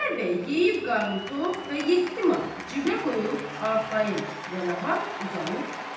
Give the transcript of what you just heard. Xudayar yeyib qarnı tox və yeddi manatı cibinə qoyub arxayın və rahat uzanıb yatdı.